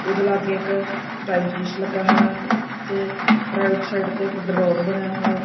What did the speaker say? ਓਹਦੇ ਲੱਗੇ ਇੱਕ ਟਾਈਮਪੀਸ ਲੱਗਾ ਹੈ ਤੇ ਰਾਇਟ ਸਾਈਡ ਤੇ ਇੱਕ ਡਰੋਡ ਬਣਿਆ ਹੈ।